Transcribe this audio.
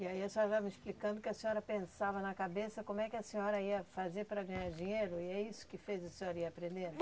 E aí a senhora vai me explicando que a senhora pensava na cabeça como é que a senhora ia fazer para ganhar dinheiro e é isso que fez a senhora ir aprendendo?